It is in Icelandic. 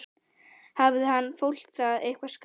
Hafði annað fólk það eitthvað skárra?